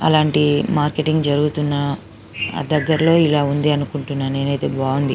అలంటి marketing జరుగుతున్నా దెగ్గరలో ఇలాంటిది ఉంది అనుకుంటున్నాను నేనెయితే బాగుంది.